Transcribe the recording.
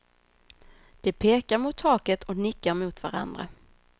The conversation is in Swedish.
De pekar mot taket och nickar mot varandra.